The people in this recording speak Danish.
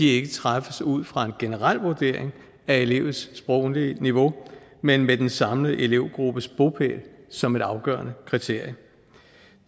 ikke træffes ud fra en generel vurdering af elevens sproglige niveau men med den samlede elevgruppes bopæl som et afgørende kriterie